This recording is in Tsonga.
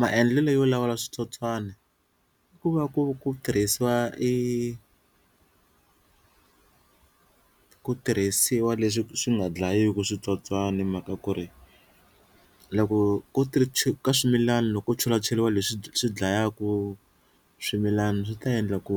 Maendlelo yo lawula switsotswana i ku va ku ku tirhisiwa i ku tirhisiwa leswi swi nga dlayiku switsotswani hi mhaka ku ri loko ko ka swimilani loko chelacheriwa leswi swi dlayaku swimilana swi ta endla ku